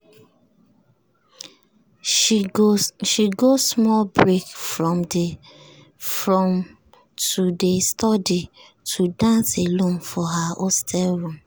she go small break from to dey study go dance alone for her hostel room.